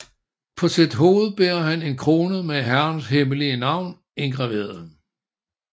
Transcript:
På sit hoved bærer han en krone med Herrens hemmelige navn indgraveret